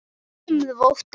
Ég var lömuð af ótta.